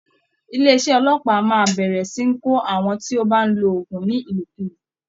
Ilé iṣẹ́ ọlọ́pàá máa bẹ̀rẹ̀ sì ní kó àwọn tí ó bá ń lo oògùn ní Ìlòkulò